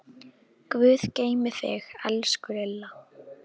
Guð geymi þig, elsku Lilla.